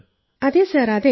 അതെ സർ അതെ